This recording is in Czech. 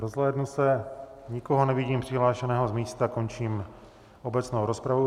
Rozhlédnu se, nikoho nevidím přihlášené z místa, končím obecnou rozpravu.